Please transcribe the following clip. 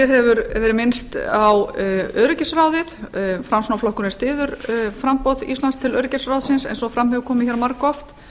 hefur verið minnst á öryggisráðið framsóknarflokkurinn styður framboð íslands til öryggisráðsins eins og fram hefur komið hér margoft